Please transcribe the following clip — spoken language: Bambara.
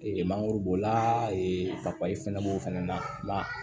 mangoro b'o la fɛnɛ b'o fɛnɛ na